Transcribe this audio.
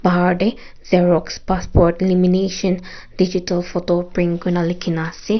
aru ete xerox passport lamination digital photo print kui ne likhi ne ase.